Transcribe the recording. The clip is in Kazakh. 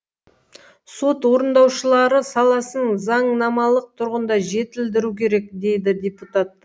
сот орындаушылары саласын заңнамалық тұрғыда жетілдіру керек дейді депутат та